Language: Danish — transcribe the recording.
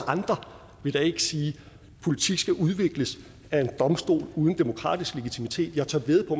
andre vil da ikke sige at politik skal udvikles af en domstol uden demokratisk legitimitet jeg tør vædde på